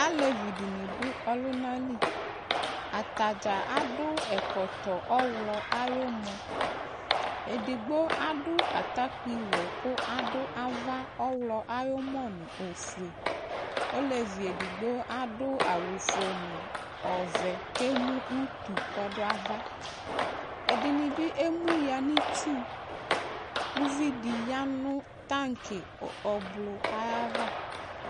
alevi di ni do ɔlòna li atadza ado ɛkɔtɔ ɔwlɔ ayi umɔ edigbo ado atakpi wɔ kò ado ava ɔwlɔ ayi umɔ no ofue olevi edigbo ado awu fue no ɔvɛ k'emu utu k'ɔdo ava ɛdini bi emu ya no itsu uvi di ya no tank ublɔ ayava